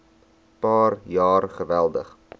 paar jaar geweldig